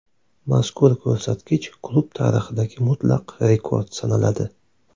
Mazkur ko‘rsatkich klub tarixidagi mutlaq rekord sanaladi.